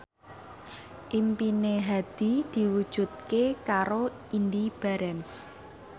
impine Hadi diwujudke karo Indy Barens